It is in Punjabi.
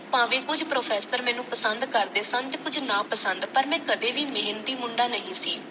ਭਾਵੇਂ ਕੁੱਝ professor ਮੈਨੂੰ ਪਸੰਦ ਕਰਦੇ ਸਨ ਤੇ ਕੁੱਝ ਨਾਪਸੰਦ, ਪਰ ਮੈਂ ਕਦੇ ਵੀ ਮਿਹਨਤੀ ਮੁੰਡਾ ਨਹੀਂ ਸੀ।